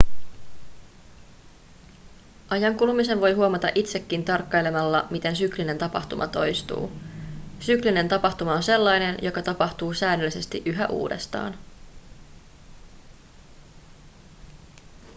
ajan kulumisen voi huomata itsekin tarkkailemalla miten syklinen tapahtuma toistuu syklinen tapahtuma on sellainen joka tapahtuu säännöllisesti yhä uudestaan